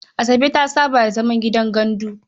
Asabe ta saba da zaman gidan gandu.